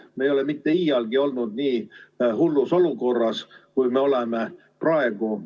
Me ei ole iialgi olnud nii hullus olukorras, kui me oleme praegu.